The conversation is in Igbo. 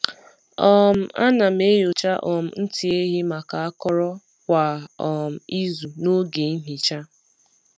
um A na m enyocha um ntị ehi maka akọrọ kwa um izu n’oge nhicha.